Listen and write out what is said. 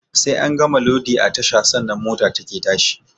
Sai an gama lodi a tasha sannan mota take tashi